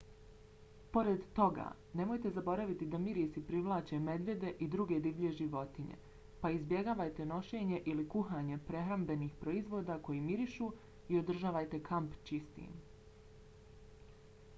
pored toga nemojte zaboraviti da mirisi privlače medvjede i druge divlje životinje pa izbjegavajte nošenje ili kuhanje prehrambenih proizvoda koji mirišu i održavajte kamp čistim